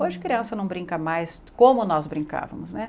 Hoje criança não brinca mais como nós brincavamos, né?